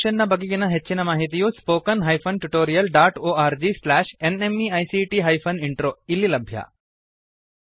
ಈ ಮಿಶನ್ ನ ಬಗೆಗಿನ ಹೆಚ್ಚಿನ ಮಾಹಿತಿಯು spoken hyphen tutorial dot org slash NMEICT hyphen intro ದಲ್ಲಿ ಲಭ್ಯ